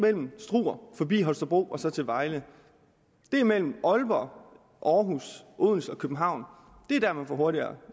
mellem struer forbi holstebro og så til vejle det er mellem aalborg aarhus odense og københavn det er der man får hurtigere